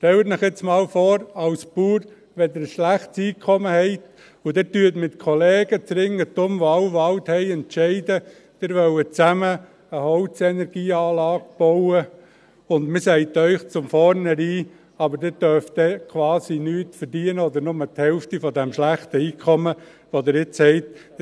Stellen Sie sich jetzt einmal vor, Sie haben als Bauer ein schlechtes Einkommen und Sie entscheiden mit Kollegen des Umkreises, die alle Wald haben, dass Sie zusammen eine Holzenergieanlage bauen wollen, und man sagt Ihnen von vornherein, Sie dürften dann aber quasi nichts verdienen oder nur die Hälfte des schlechten Einkommens, das Sie jetzt haben: